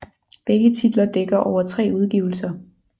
Begge titler dækker over tre udgivelser